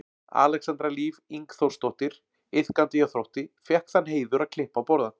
Alexandra Líf Ingþórsdóttir iðkandi hjá Þrótti fékk þann heiður að klippa á borðann.